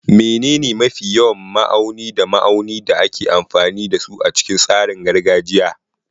Menene mafi yawan ma'auni da ma'auni da ake amfani da su a cikin tsarin gargajiya?